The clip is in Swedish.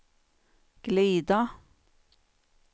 glida